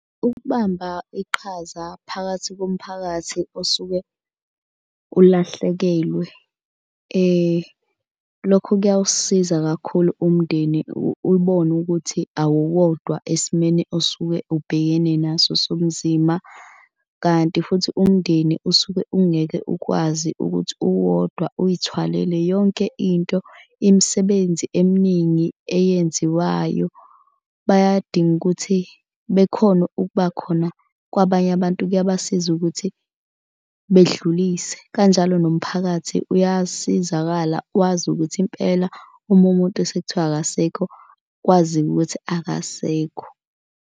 Ukubamba iqhaza phakathi komphakathi osuke ulahlekelwe lokho kuyawusiza kakhulu umndeni ubone ukuthi awuwodwa esimeni osuke ubhekene naso sobuzimba. Kanti futhi umndeni usuke ungeke ukwazi ukuthi uwodwa uyithwalele yonke into. Imisebenzi eminingi eyenziwayo bayadinga ukuthi bekhone ukuba khona kwabanye abantu kuyabasiza ukuthi bedlulise. Kanjalo nomphakathi uyasizakala wazi ukuthi impela uma umuntu sekuthiwa akasekho kwaziwe ukuthi akasekho.